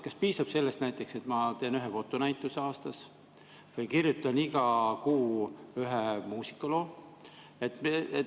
Kas piisab sellest, et ma teen ühe fotonäituse aastas või kirjutan iga kuu ühe muusikaloo?